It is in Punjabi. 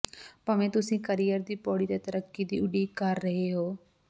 ਭਾਵੇਂ ਤੁਸੀਂ ਕਰੀਅਰ ਦੀ ਪੌੜੀ ਤੇ ਤਰੱਕੀ ਦੀ ਉਡੀਕ ਕਰ ਰਹੇ ਹੋ